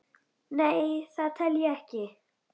Nei, það tel ég ekki.